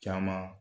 Caman